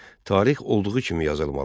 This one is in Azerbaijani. Tarix olduğu kimi yazılmalıdır.